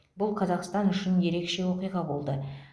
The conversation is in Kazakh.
бұл қазақстан үшін ерекше оқиға болды